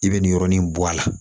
I bɛ nin yɔrɔnin bɔ a la